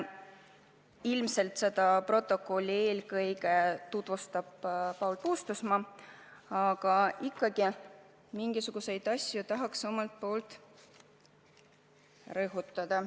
Ilmselt tutvustab seda rohkem Paul Puustusmaa, aga mingisuguseid asju ma tahan ka omalt poolt rõhutada.